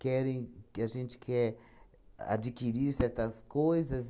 Querem que a gente quer adquirir certas coisas?